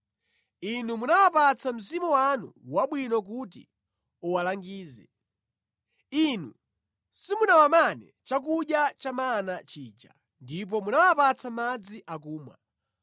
Inu munawapatsa mzimu wanu wabwino kuti uwalangize. Inu simunawamane chakudya cha mana chija, ndipo munawapatsa madzi akumwa.